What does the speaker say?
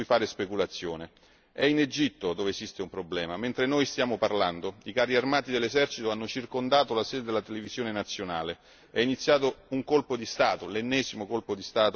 Mentre noi stiamo parlando i carri armati dell'esercito hanno circondato la sede della televisione nazionale, è iniziato un colpo di Stato, l'ennesimo colpo di Stato e l'ennesima rivoluzione egiziana, quella è la vera emergenza.